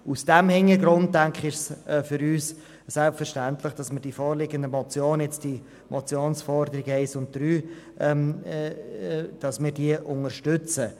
Vor diesem Hintergrund, denke ich, ist es für uns selbstverständlich, dass wir die vorliegende Motion – jetzt die Motionsforderungen 1 und 3 – unterstützen.